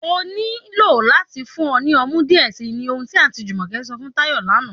Ọ ní ilọ̀ láti fún ọ ni ọmú díẹ̀ sí, ní ọhun ti Aunty Jumoke sọ̀ fún Tayo lánà